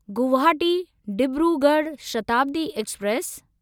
Guwahati Dibrugarh Shatabdi express